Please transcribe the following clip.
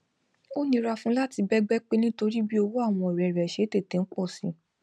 ó nira fún láti bẹgbẹ pé nítorí bí owó àwọn ọrẹ rẹ ṣe ń tètè pọ si